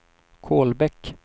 Kolbäck